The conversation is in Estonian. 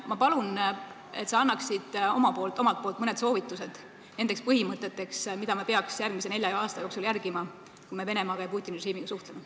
Ma palun, et sa annaksid omalt poolt mõned soovitused, mis põhimõtteid me peaks järgmise nelja aasta jooksul järgima, kui me Venemaaga ja Putini režiimiga suhtleme.